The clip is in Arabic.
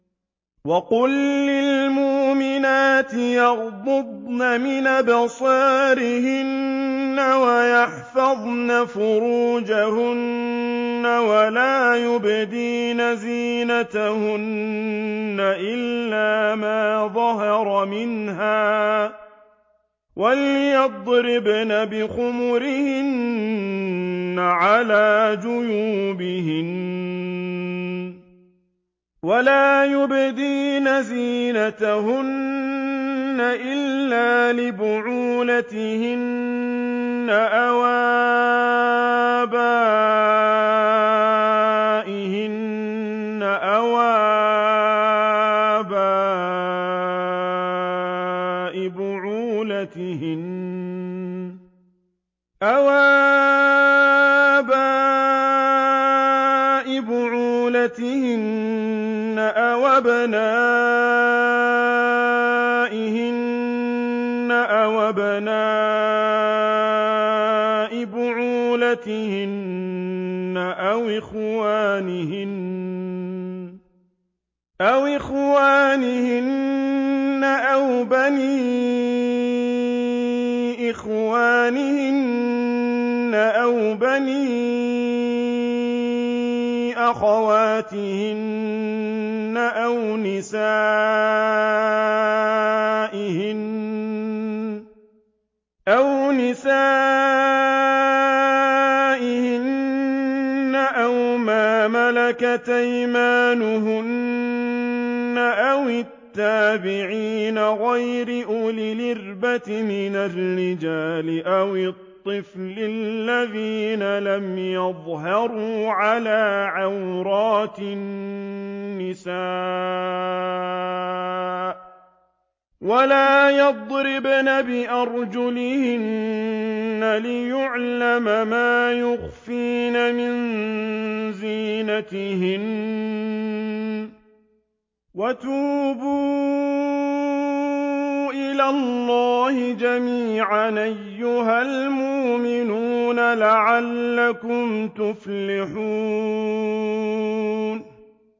وَقُل لِّلْمُؤْمِنَاتِ يَغْضُضْنَ مِنْ أَبْصَارِهِنَّ وَيَحْفَظْنَ فُرُوجَهُنَّ وَلَا يُبْدِينَ زِينَتَهُنَّ إِلَّا مَا ظَهَرَ مِنْهَا ۖ وَلْيَضْرِبْنَ بِخُمُرِهِنَّ عَلَىٰ جُيُوبِهِنَّ ۖ وَلَا يُبْدِينَ زِينَتَهُنَّ إِلَّا لِبُعُولَتِهِنَّ أَوْ آبَائِهِنَّ أَوْ آبَاءِ بُعُولَتِهِنَّ أَوْ أَبْنَائِهِنَّ أَوْ أَبْنَاءِ بُعُولَتِهِنَّ أَوْ إِخْوَانِهِنَّ أَوْ بَنِي إِخْوَانِهِنَّ أَوْ بَنِي أَخَوَاتِهِنَّ أَوْ نِسَائِهِنَّ أَوْ مَا مَلَكَتْ أَيْمَانُهُنَّ أَوِ التَّابِعِينَ غَيْرِ أُولِي الْإِرْبَةِ مِنَ الرِّجَالِ أَوِ الطِّفْلِ الَّذِينَ لَمْ يَظْهَرُوا عَلَىٰ عَوْرَاتِ النِّسَاءِ ۖ وَلَا يَضْرِبْنَ بِأَرْجُلِهِنَّ لِيُعْلَمَ مَا يُخْفِينَ مِن زِينَتِهِنَّ ۚ وَتُوبُوا إِلَى اللَّهِ جَمِيعًا أَيُّهَ الْمُؤْمِنُونَ لَعَلَّكُمْ تُفْلِحُونَ